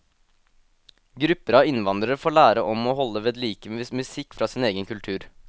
Grupper av innvandrere får lære om og holde vedlike musikk fra sin egen kultur.